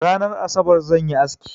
Ranan Asabar zan yi aski.